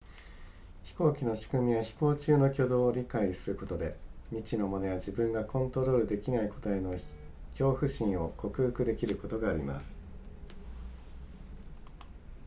飛行機の仕組みや飛行中の挙動を理解することで未知のものや自分がコントロールできないことへの恐怖心を克服できることがあります